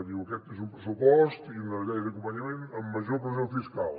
diu aquest és un pressupost i una llei d’acompanyament amb major pressió fiscal